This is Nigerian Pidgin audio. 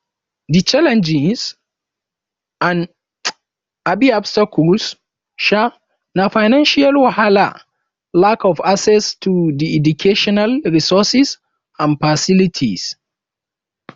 di challenges and um obstacles um na financial wahala lack of access to di educational resources and facilities